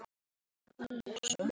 Oft lágu leiðir okkar saman.